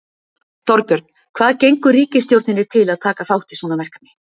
Þorbjörn, hvað gengur ríkisstjórninni til að taka þátt í svona verkefni?